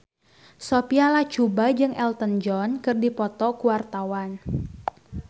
Sophia Latjuba jeung Elton John keur dipoto ku wartawan